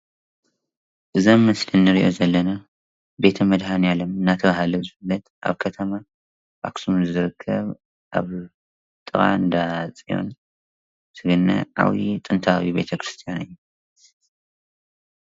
እዛ ኣብ ምስሊ እንሪኣ ዘለና ቤተ -መድሓኒኣለም እንዳተባሃለ ዝፅዋዕ ኣብ ኣብ ኣክሱም ዝርከብ ኣብ ጥቃ እንዳፅዮን ጥንታዊ ቤተ-ክርስትያን እዩ ፡፡